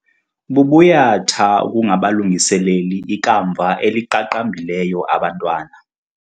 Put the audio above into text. Bubuyatha ukungabalungiseleli ikamva eliqaqambileyo abantwana.